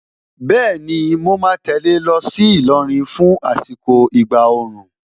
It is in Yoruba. Bẹ́ẹ̀ni, mo ma tẹ̀lé ẹ lọ sí Ìlọrin fún àsìkò ìgbà òòrùn.